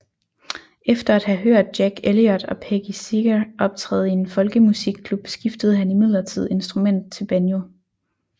Efter at have hørt Jack Elliot og Peggy Seeger optræde i en folkemusikklub skiftede han imidlertid instrument til banjo